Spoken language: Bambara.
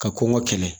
Ka kɔn ka kɛlɛ